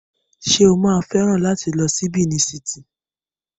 Ṣé ó máa fẹ́ràn láti lọ ṣí Benin City?